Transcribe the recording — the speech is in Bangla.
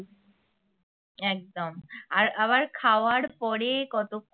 একদম আর আবার খাওয়ার পরে কত